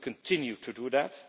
We will continue to do that.